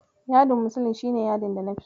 Yadin muslin shi ne yadin da nafi so.